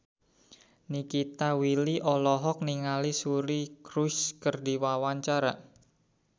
Nikita Willy olohok ningali Suri Cruise keur diwawancara